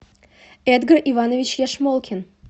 эдгар иванович яшмолкин